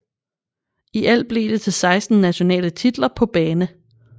I alt blev det til 16 nationale titler på bane